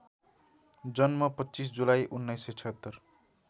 जन्म २५ जुलाई १९७६